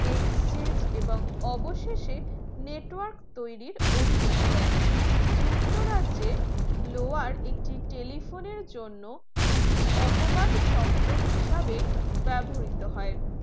exchange এবং অবশেষে network তৈরীর অনুমুতি দেয় যুক্তরাজ্যে blower একটি telephone জন্য একটি অপবাদ শব্দ হিসাবে ব্যবহৃত হয়